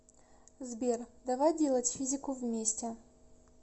сбер давай делать физику вместе